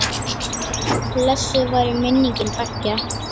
Blessuð veri minning beggja.